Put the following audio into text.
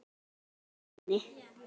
Ekkert bólar á henni.